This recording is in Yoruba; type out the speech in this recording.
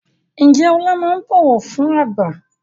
Ǹjẹ́ Ọlá máa ń bọ̀wọ̀ fún àgbà?